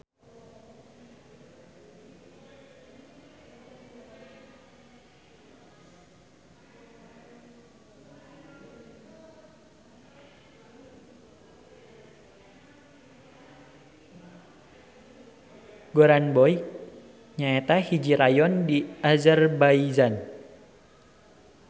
Goranboy nyaeta hiji rayon di Azerbaijan.